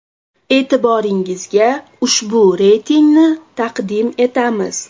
E’tiboringizga ushbu reytingni taqdim etamiz.